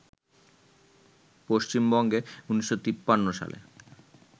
পশ্চিমবঙ্গে ১৯৫৩ সালে